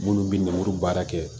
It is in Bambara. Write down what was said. Minnu bɛ lemuru baara kɛ